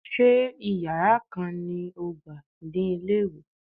Ṣé Ìyàrá kan lo gbà ní ilé-ìwé?